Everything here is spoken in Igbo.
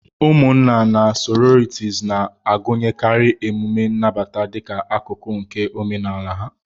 Ụmụnna na sororities na-agụnyekarị emume nnabata dịka akụkụ nke omenala ha.